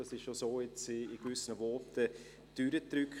Das hat ja so in gewissen Voten durchgedrückt.